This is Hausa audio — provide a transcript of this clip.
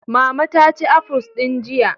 Mama ta ci afuls din jiya.